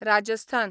Rajasthan